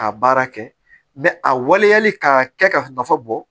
K'a baara kɛ a waleyali k'a kɛ ka nafa bɔ